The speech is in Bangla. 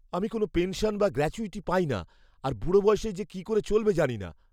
আমি কোনও পেনশন বা গ্র্যাচুইটি পাই না আর বুড়ো বয়সে যে কি করে চলবে জানি না।